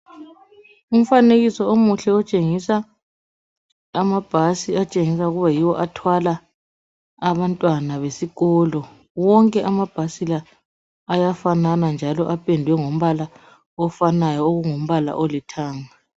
Umfanekiso omuhle otshengisa amabhasi atshengisa ukuba yiwo athwala abantwana besikolo. Wonke amabhasi la ayafanana njalo apendwe ngombala ofanayo okungumbala olithanga.